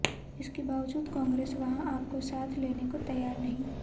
इसके बावजूद कांग्रेस वहां आप को साथ लेने को तैयार नहीं